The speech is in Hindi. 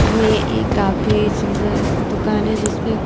ये एक काफी सुंदर दुकान है जिसमें--